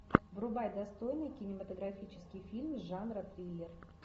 врубай достойный кинематографический фильм жанра триллер